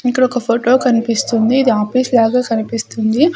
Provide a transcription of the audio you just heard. ఇక్కడ ఒక ఫోటో కనిపిస్తుంది ఇది ఆఫీస్ లాగా కనిపిస్తుంది.